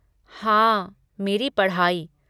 हाँ, मेरी पढ़ाई।